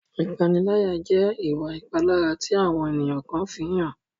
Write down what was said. Ìpaniláyà jẹ́ ìwà ìpalára tí àwọn ènìyàn kan fi ń hàn.